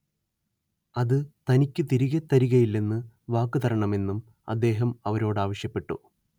അത് തനിക്കു തിരികെ തരുകയില്ലെന്ന് വാക്കുതരണമെന്നും അദ്ദേഹം അവരോടാവശ്യപ്പെട്ടു